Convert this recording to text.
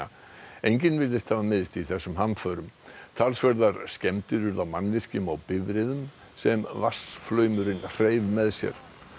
enginn virðist hafa meiðst í þessum hamförum talsverðar skemmdir urðu á mannvirkjum og bifreiðum sem vatnsflaumurinn hreif með sér